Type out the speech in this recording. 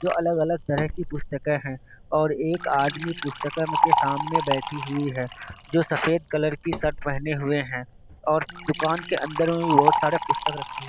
जो अलग अलग तरह की पुस्तके है। और एक आदमी पुस्तकालय के सामने बैठी हुई है जो सफ़ेद कलर की शर्ट पेहने हुए है। और दूकान अंदर भी बहोत सारे पुस्तक रखे हुए।